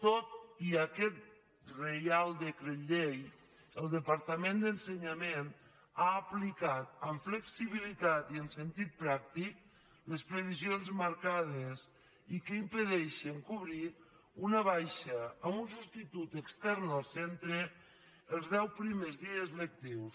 tot i aquest reial decret llei el departament d’ensenyament ha aplicat amb flexibili·tat i amb sentit pràctic les previsions marcades i que impedeixen cobrir una baixa amb un substitut extern al centre els deu primers dies lectius